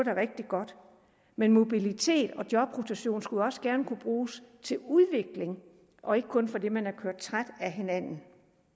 er rigtig godt men mobilitet og jobrotation skulle også gerne kunne bruges til udvikling og ikke kun ske fordi man er kørt træt af hinanden